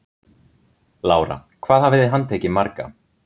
Lára: Hvað hafið þið handtekið marga?